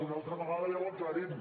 una altra vegada ja ho aclarim